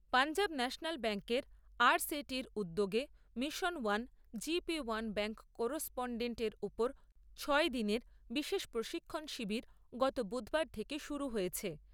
Punjab national ব্যাঙ্কের RSETI র উদ্যোগে mission one GP one bank correspondent এর উপর ছয় দিনের বিশেষ প্রশিক্ষণ শিবির গত বুধবার থেকে শুরু হয়েছে।